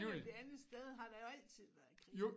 Et andet sted har der jo altid været krig